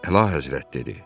Əlahəzrət, dedi: